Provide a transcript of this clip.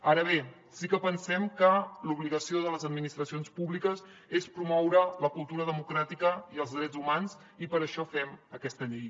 ara bé sí que pensem que l’obligació de les administracions públiques és promoure la cultura democràtica i els drets humans i per això fem aquesta llei